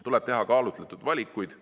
Tuleb teha kaalutletud valikuid.